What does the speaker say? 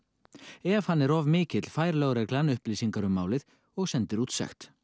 ef hann er of mikill fær lögreglan upplýsingar um málið og sendir út sekt